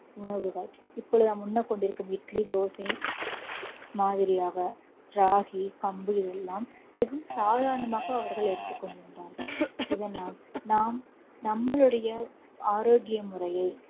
உணவுகள் இப்பொழுது நாம் உண்ண கொண்டிருக்கும் இட்லி, தோசை மாதிரியாக ராகி, கம்புகள் இவை எல்லாம் வெறும் சாதாரணமாக அவர்கள் எடுத்துக் கொண்டிருந்தார்கள். இதனால் நாம் நம்மளுடைய ஆரோக்கிய முறையை